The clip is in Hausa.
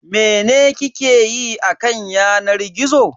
Mene kike yi a kan yanar gizo?